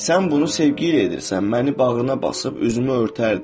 Sən bunu sevgi ilə edirsən, məni bağrına basıb üzümü örtərdi.